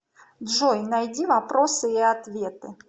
джой найди вопросы и ответы